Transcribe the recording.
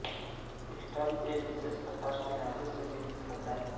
stunt एक विशेष प्रकार की धातु से निर्मित होता है